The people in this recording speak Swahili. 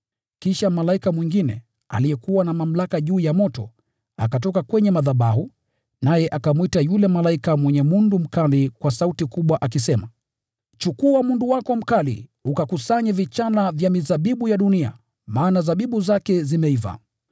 Kisha malaika mwingine, aliyekuwa na mamlaka juu ya moto, akatoka kwenye madhabahu, naye akamwita yule malaika mwenye mundu mkali kwa sauti kubwa, akisema, “Chukua mundu wako mkali ukakusanye vichala vya mizabibu ya dunia, maana zabibu zake zimeiva.”